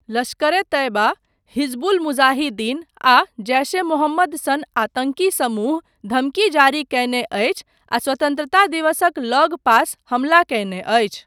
लश्कर ए तैयबा, हिजबुल मुजाहिदीन आ जैश ए मोहम्मद सन आतंकी समूह धमकी जारी कयने अछि आ स्वतन्त्रता दिवसक लगपास हमला कयने अछि।